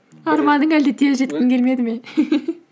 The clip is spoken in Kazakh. арманыңа әлде тез жеткің келмеді ме